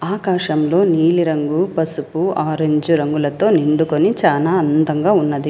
ఆకాశంలో నీలి రంగు పసుపు ఆరంజ్ రంగులతో నిండుకొని చానా అందంగా ఉన్నది.